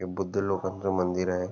हे बुद्ध लोकांच मंदिर आहे.